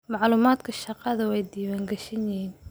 Macluumaadka shaqadu waa diiwaan gashan yihiin.